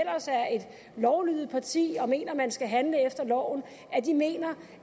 lovlydigt parti og mener at man skal handle efter loven mener